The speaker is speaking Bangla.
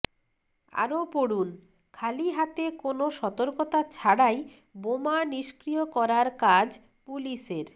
আরও পড়ুন খালি হাতে কোনও সতর্কতা ছাড়াই বোমা নিষ্ক্রিয় করার কাজ পুলিসের